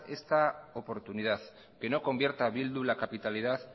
esta oportunidad que no convierta bildu la capitalidad